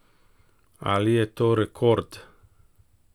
Ali je to rekord?